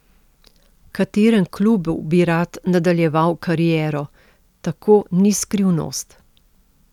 V katerem klubu bi rad nadaljeval kariero, tako ni skrivnost.